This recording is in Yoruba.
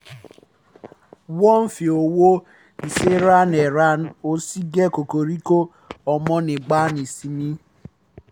wọ́n fi owó iṣẹ́ ran ẹran ọ̀sìn gé koríko kọ́ ọmọ nígbà ìsinmi